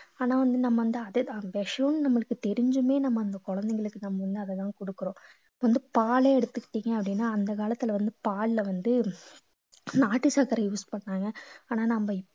ஆனா வந்து நம்ம வந்து அது அது விஷம்ன்னு நம்மளுக்கு தெரிஞ்சுமே நம்ம அந்த குழந்தைங்களுக்கு நம்ம வந்து அததான் கொடுக்கிறோம் வந்து பாலே எடுத்துக்கிட்டீங்க அப்படின்னா அந்த காலத்துல வந்து பால்ல வந்து நாட்டு சர்க்கரை use பண்ணாங்க ஆனா நம்ம